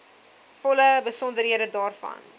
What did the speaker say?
volle besonderhede daarvan